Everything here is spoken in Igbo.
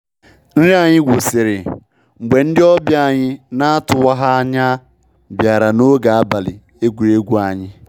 Nrị anyị gwụsịrị mgbe ndị ọbia anyị na-atụwaha anya bịara ń ọge abalị egwuregwu anyị.